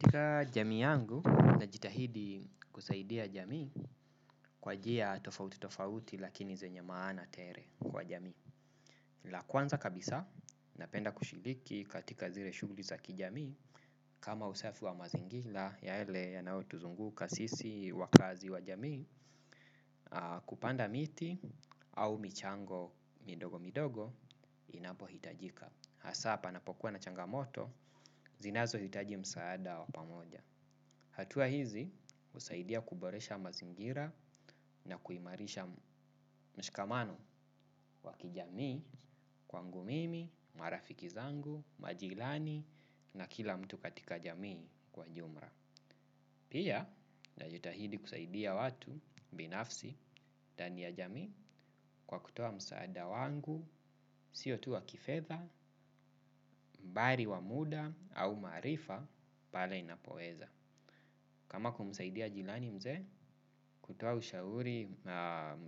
Katika jamii yangu na jitahidi kusaidia jamii kwa njia tofauti tofauti lakini zenye maana tele kwa jami. La kwanza kabisa napenda kushiriki katika zile shughuli za kijamii kama usafi wa mazingira yale yanayotuzunguka sisi wakazi wa jamii kupanda miti au michango midogo midogo inapohitajika. Hasa panapokuwa na changamoto zinazohitaji msaada wa pamoja. Hatua hizi husaidia kuboresha mazingira na kuimarisha mshikamano wa kijamii kwangu mimi, marafiki zangu, majirani na kila mtu katika jamii kwa ujumla. Pia najitahidi kusaidia watu binafsi ndani ya jamii kwa kutoa msaada wangu, sio tu wa kifedha, bali wa muda au maarifa pale niinapoweza. Kama kumsaidia jirani mzee kutoa ushauri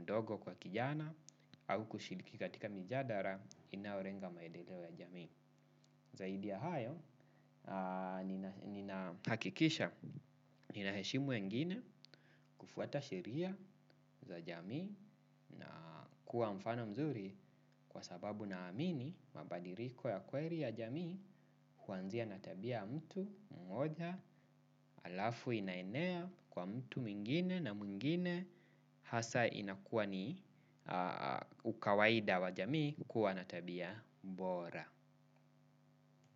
mdogo kwa kijana au kushiriki katika mijadala inalenga maendeleo ya jamii. Zaidi ya hayo ninahakikisha ninaheshimu ya wengine kufuata sheria za jamii na kuwa mfano mzuri kwa sababu naamini mabadiliko ya kweli ya jamii huanzia na tabia ya mtu mmoja alafu inaenea kwa mtu mwingine na mwingine hasa inakuwa ni ukawaida wa jamii kuwa na tabia bora.